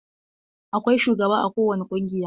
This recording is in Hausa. Akwai shugaba a kowani ƙungiya.